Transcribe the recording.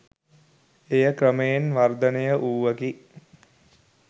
එය ක්‍රමයෙන් වර්ධනය වූවකි